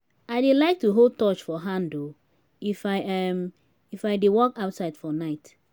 i dey like to hold torch for hand um if i um if i dey walk outside for night